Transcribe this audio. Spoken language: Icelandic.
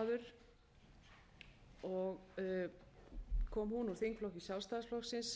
formaður og kom hún úr þingflokki sjálfstæðisflokksins